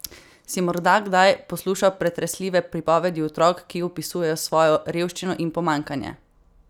Si morda kdaj poslušal pretresljive pripovedi otrok, ki opisujejo svojo revščino in pomanjkanje?